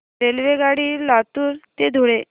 रेल्वेगाडी लातूर ते धुळे